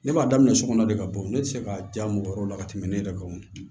Ne b'a daminɛ sokɔnɔ de ka bɔ ne tɛ se ka diya mɔgɔ wɛrɛw la ka tɛmɛ ne yɛrɛ kan